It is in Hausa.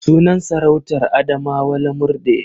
Sunan sarautar Adamawa Lamurɗe.